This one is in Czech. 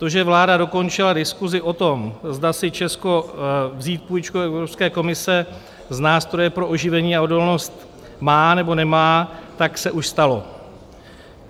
To, že vláda dokončila diskusi o tom, zda si Česko vzít půjčku Evropské komise z nástroje pro oživení a odolnost má, nebo nemá, tak se už stalo.